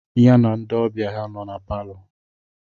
Ya na ndị ọbịa ya nọ na palọ.